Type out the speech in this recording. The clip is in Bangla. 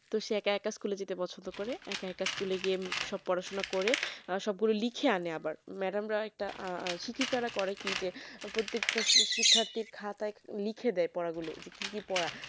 তো সে একা একা school যেতে পছন্দ করে একা একা school গিয়ে সব পড়াশোনা করে সব গুলো লিখে আনে আবার madam একটা শিক্ষিকারা করে কি যে প্রত্যেকটা শিক্ষার্থীর খাতায় লিখে দেয় পড়াগুলো যে কি কি পড়া